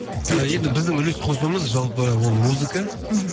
енді біздің үлес қосуымыз жалпы ол музыка мхм